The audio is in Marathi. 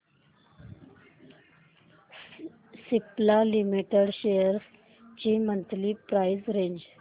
सिप्ला लिमिटेड शेअर्स ची मंथली प्राइस रेंज